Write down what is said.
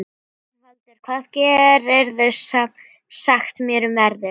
Rögnvaldur, hvað geturðu sagt mér um veðrið?